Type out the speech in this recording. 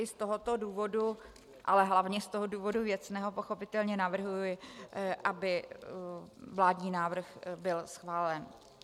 I z tohoto důvodu, ale hlavně z toho důvodu věcného pochopitelně navrhuji, aby vládní návrh byl schválen.